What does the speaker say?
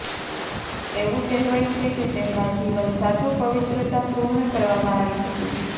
એવું કહેવાય છે કે તેમના જીવન સાચું પવિત્રતા પૂર્ણ કરવામાં આવી હતી